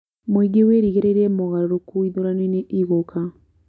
Mũingĩ wĩrĩgĩrĩire mogarũrũku ithurano-inĩ igũka